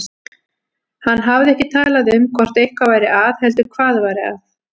Hann hafði ekki talað um hvort eitthvað væri að heldur hvað væri að.